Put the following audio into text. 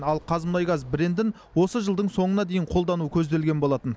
ал қазмұнайгаз брендін осы жылдың соңына дейін қолдану көзделген болатын